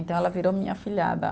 Então ela virou minha afilhada.